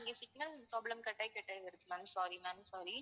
இங்க signal problem cut ஆகி cut ஆகி வருது ma'am sorry ma'am sorry